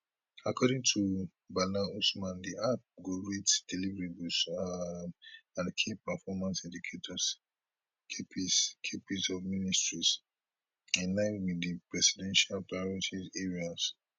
according to bala usman di app go rate deliverables um and key performance indicators kpis kpis of ministries in line wit di presidential priority areas